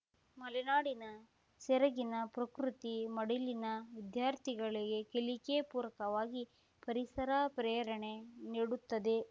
ಮಲೆನಾಡಿನ ಸೆರಗಿನ ಪ್ರಕೃತಿ ಮಡಲಿನ ವಿದ್ಯಾರ್ಥಿಗಳಿಗೆ ಕಲಿಕೆ ಪೂರಕವಾಗಿ ಪರಿಸರ ಪ್ರೇರಣೆ ನೀಡುತ್ತದೆ